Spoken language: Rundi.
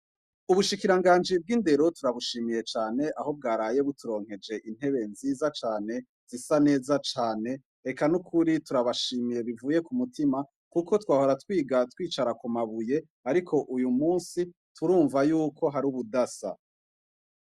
Ubushikiranganji bw’indero turabushimiye cane ,aho bwaraye buturonkeje intebe nziza cane ,zisa neza cane ,eka nukuri turabashimiye bivuye kumutima kuko twahora twiga twicara kumabuye ariko uyumusi ,turimvako yuko har’ ubudasa.